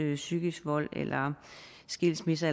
den psykiske vold og skilsmisser